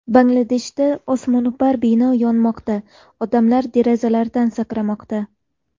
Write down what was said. Bangladeshda osmono‘par bino yonmoqda: odamlar derazalardan sakramoqda .